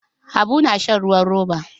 Habu na shan ruwan roba.